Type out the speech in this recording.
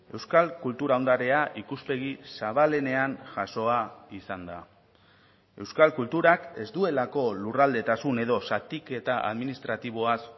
euskal kultura ondarea ikuspegi zabalenean jasoa izan da euskal kulturak ez duelako lurraldetasun edo zatiketa administratiboaz